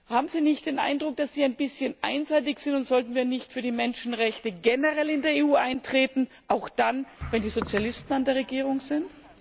Haben Sie nicht den Eindruck, dass Sie ein bisschen einseitig sind, und sollten wir nicht für die Menschenrechte generell in der EU eintreten, auch dann, wenn die Sozialisten an der Regierung sind?